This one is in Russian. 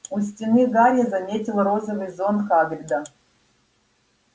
у стены гарри заметил розовый зонт хагрида